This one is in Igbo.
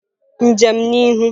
Njem n'ihu!